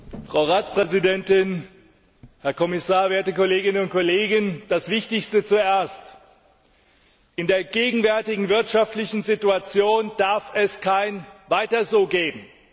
Herr Präsident, Frau Ratspräsidentin, Herr Kommissar, werte Kolleginnen und Kollegen! Das Wichtigste zuerst In der gegenwärtigen wirtschaftlichen Situation darf es kein weiter so geben.